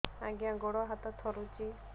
ଆଜ୍ଞା ଗୋଡ଼ ହାତ ଥରୁଛି